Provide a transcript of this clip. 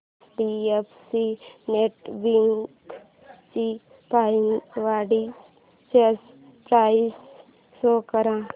HDFC net banking ची password change process show कर